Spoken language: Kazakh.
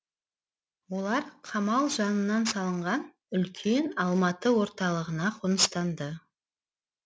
олар қамал жанынан салынған үлкен алматы орталығына қоныстанды